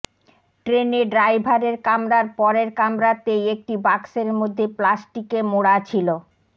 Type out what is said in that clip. ট্রেনে ড্রাইভারের কামরার পরের কামরাতেই একটি বাক্সের মধ্যে প্লাস্টিকে মোড়া ছিল